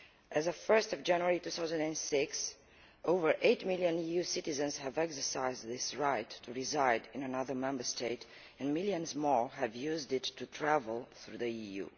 As of 1 January 2006, over 8 million EU citizens have exercised this right to reside in another Member State, and millions more have used it to travel through the EU.